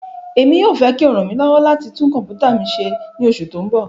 Emi yoo fẹ ki o ran mi lọwọ lati tun kọmputa mi ṣe ni oṣu ti n bọ